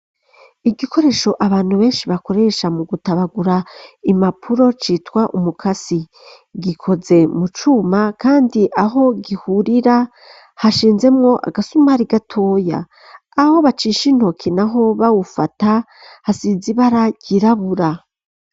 Igikoresho abantu benshi bakoresha mu gutabagura imapuro citwa umukasi gikoze mu cuma kandi aho gihurira hashinzemwo agasumari gatoya aho bacisha intoki naho bawufata hasize ibara ryirabura.